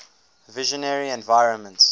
visionary environments